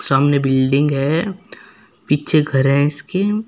सामने बिल्डिंग है पीछे घर है इसके।